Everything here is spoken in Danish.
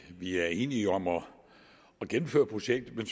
at vi er enige om at gennemføre projektet men